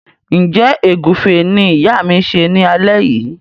Njé Egufe ní ìyá ma ṣe ní alé yí?